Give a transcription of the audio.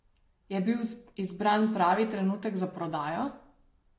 Je bil izbran pravi trenutek za prodajo?